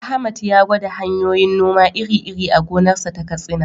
Ahmad ya gwada hanyoyin noma iri-iri a gonarsa ta Katsina.